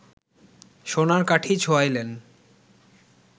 সোনার কাঠি ছোঁয়াইলেন